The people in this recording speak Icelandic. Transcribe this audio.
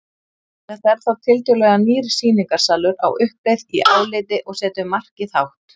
Þetta er þá tiltölulega nýr sýningarsalur á uppleið í áliti og setur markið hátt.